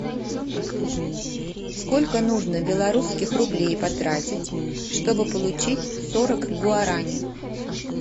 сколько нужно белорусских рублей потратить чтобы получить сорок гуарани